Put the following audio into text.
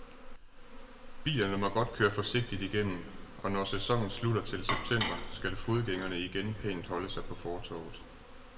Bilerne må godt køre forsigtigt igennem, og når sæsonen slutter til september, skal fodgængerne igen pænt holde sig på fortovet.